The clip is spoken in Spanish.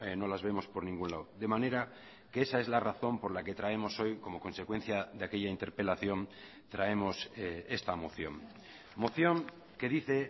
no las vemos por ningún lado de manera que esa es la razón por la que traemos hoy como consecuencia de aquella interpelación traemos esta moción moción que dice